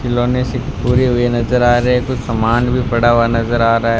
खिलौने से पूरे हुए नजर आ रहे है कुछ सामान भी पड़ा हुआ नजर आ रहा है।